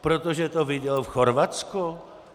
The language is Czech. Protože to viděl v Chorvatsku?